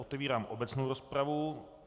Otevírám obecnou rozpravu.